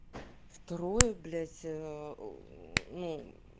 в трое блять ээ ну